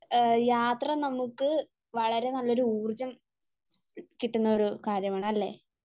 യാത്ര നമ്മക്ക് വളരെ നല്ലൊരു ഊർജ്ജം കിട്ടുന്ന ഒരു കാര്യമാണ് അല്ലെ?